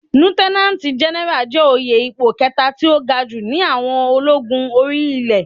Líútẹ́nánátì Gẹnẹrà jẹ́ òye ipò kẹta tí ó ga jù ní àwọn ológun orí ilé.